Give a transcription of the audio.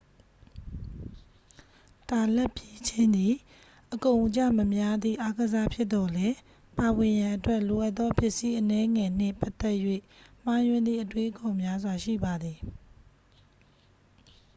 တာလတ်ပြေးခြင်းသည် အကုန်အကျမများသည့်အားကစားဖြစ်သော်လည်း ပါဝင်ရန်အတွက် လိုအပ်သောပစ္စည်းအနည်းငယ်နှင့်ပတ်သက်၍ မှားယွင်းသည့်အတွေးအခေါ်များစွာ ရှိပါသည်